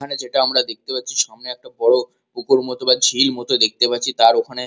এখানে যেটা আমরা দেখতে পাচ্ছি সামনে একটা বড়ো পুকুর মতো বা ঝিল মতো দেখতে পাচ্ছি তার ওখানে।